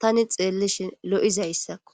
tani xeellishi lo'izayssakko